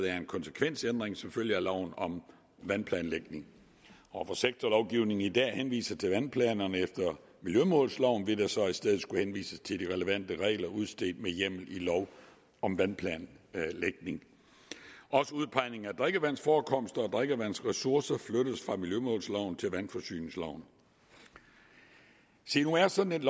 er en konsekvensændring som følge af loven om vandplanlægning og hvor sektorlovgivningen i dag henviser til vandplanerne efter miljømålsloven vil der så i stedet skulle henvises til de relevante regler udstedt med hjemmel i lov om vandplanlægning også udpegning af drikkevandsforekomster og drikkevandsressourcer flyttes fra miljømålsloven til vandforsyningsloven se nu er sådan et